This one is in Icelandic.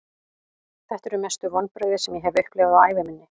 Þetta eru mestu vonbrigði sem ég hef upplifað á ævi minni.